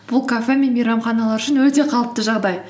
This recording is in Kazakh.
бұл кафе мен мейрамханалар үшін өте қалыпты жағдай